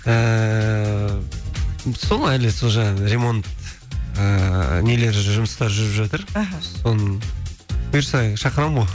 ііі сол әлі сол жаңағы ремонт ыыы нелері жұмыстары жүріп жатыр іхі соның бұйырса енді шақырамын ғой